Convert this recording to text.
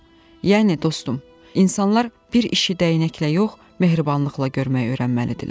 Yəni dostum, insanlar bir işi dəyənəklə yox, mehribanlıqla görməyi öyrənməlidirlər.